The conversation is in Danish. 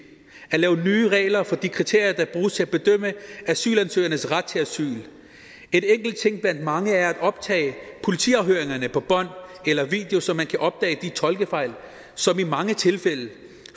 og lave nye regler for de kriterier der bruges til at bedømme asylansøgernes ret til asyl en enkelt ting blandt mange er at optage politiafhøringerne på bånd eller video så man kan opdage de tolkefejl som i mange tilfælde